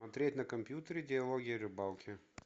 смотреть на компьютере диалоги о рыбалке